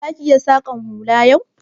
Za ki iya saƙan hula yau?